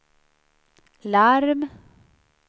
larm